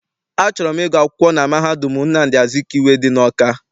Achọrọ m ịgụ akwụkwọ na mahadum Nnamdi Azikiwe dị n'Awka.